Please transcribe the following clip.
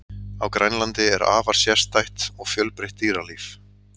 á grænlandi er afar sérstætt og fjölbreytt dýralíf